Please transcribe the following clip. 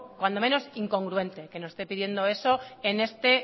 cuando menos incongruente que nos esté pidiendo eso en este